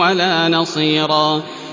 وَلَا نَصِيرًا